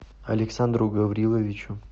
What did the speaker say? александру гавриловичу